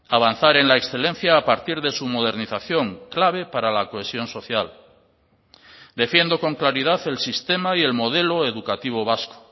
avanzar en la excelencia a partir de su modernización clave para la cohesión social defiendo con claridad el sistema y el modelo educativo vasco